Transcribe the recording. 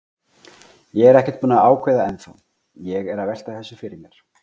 Ég er ekkert búinn að ákveða ennþá, ég er að velta þessu fyrir mér.